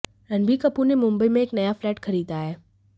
रणबीर कपूर ने मुंबई में एक नया फ्लैट खरीदा है